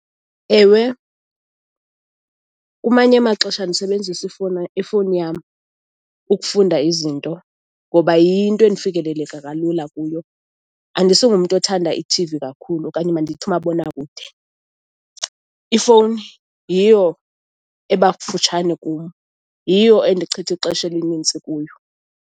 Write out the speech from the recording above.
Ewe, kumanye amaxesha ndisebenzisa ifowuni yam ukufunda izinto ngoba yinto endifikeleleka kalula kuyo. Andisingumntu othanda ithivi kakhulu okanye mandithi umabonakude. Ifowuni yiyo eba kufutshane kum, yiyo endichitha ixesha elinintsi kuyo.